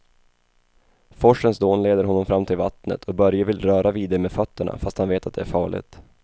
Forsens dån leder honom fram till vattnet och Börje vill röra vid det med fötterna, fast han vet att det är farligt.